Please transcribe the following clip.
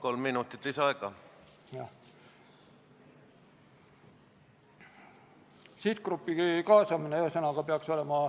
Liitlasvägede kohapealne toetus Afganistani julgeolekujõududele on oluline.